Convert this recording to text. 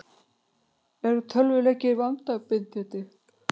Eru tölvuleikir vanabindandi?